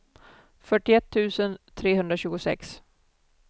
fyrtioett tusen trehundratjugosex